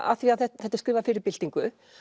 af því þetta er skrifað fyrir byltingu